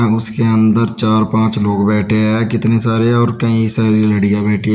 उसके अंदर चार पांच लोग बैठे हैं कितने सारे और कई सारी लड़कियां बैठी हैं।